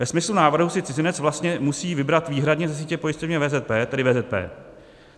Ve smyslu návrhu si cizinec vlastně musí vybrat výhradně ze sítě pojišťoven VZP, tedy VZP.